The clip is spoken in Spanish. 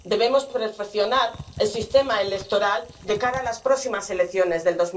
Debemos perfeccionar el sistema electoral de cara a las próximas elecciones de